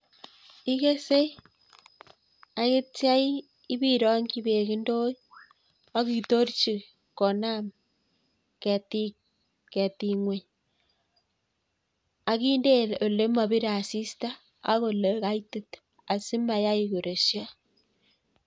Ikesei ak ityo iberongyi beek ndoit akitorchi konam ketik ngweny akinde ole mobire asista akinde ole kaitit asimoresyo.